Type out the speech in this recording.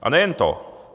A nejen to.